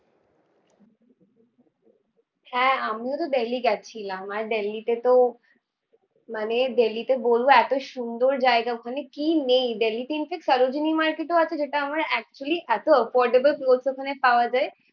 হ্যাঁ, আমিও তো দিল্লি গেছিলাম, আর দিল্লিতে তো মানে দিল্লীতে বলবো এতো সুন্দর জায়গা ওখানে কি নেই। দিল্লিতে in fact সরোজিনী মার্কেট ও আছে যেটা আমার actually এতো affordable clothes ওখানে পাওয়া যায়।